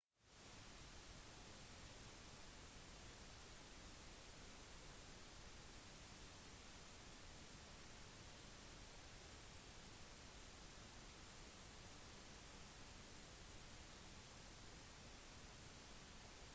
du bør ha med en ekstra kopi i bagasjen din og en på nett enten e-post til deg selv med vedlegg eller lagret i «skyen»